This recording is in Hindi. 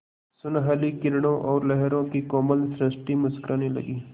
सुनहली किरणों और लहरों की कोमल सृष्टि मुस्कराने लगी